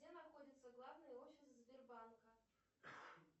где находится главный офис сбербанка